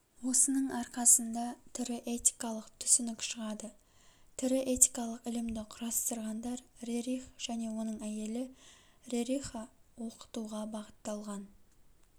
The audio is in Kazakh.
осының арқасында тірі этикалық түсінік шығады тірі этикалық ілімді кұрастырғандар рерих және оның әйелі рериха оқытуға бағытталған